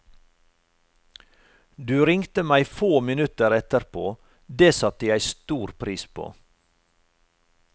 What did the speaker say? Du ringte meg få minutter etterpå, det satte jeg stor pris på.